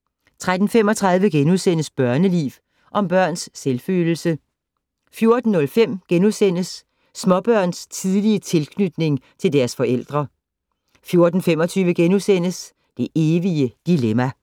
* 13:35: Børneliv - Om børns selvfølelse * 14:05: Småbørns tidlige tilknytning til deres forældre * 14:25: Det evige dilemma *